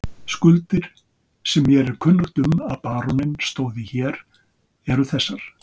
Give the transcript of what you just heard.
Skuldir sem mér er kunnugt um að baróninn stóð í hér, eru þessar